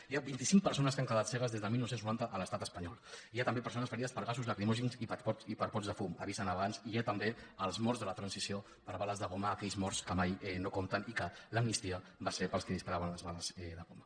hi ha vint i cinc persones que han quedat cegues des de dinou noranta a l’estat espanyol hi ha també persones ferides per gasos lacrimògens i per pots de fum avisen abans hi ha també els morts de la transició per bales de goma aquells morts que mai no compten i que l’amnistia va ser per als que disparaven les bales de goma